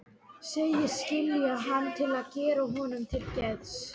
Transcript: Segist skilja hann til að gera honum til geðs.